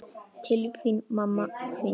Til þín, mamma mín.